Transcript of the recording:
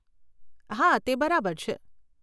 હા, તે બરાબર છે.